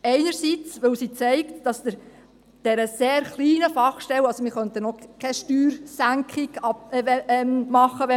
Einerseits zeigt sie auf, dass der sehr kleinen Fachstelle die Arbeit in den nächsten Jahren nicht ausgehen wird.